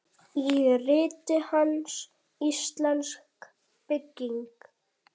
Í riti hans, Íslensk bygging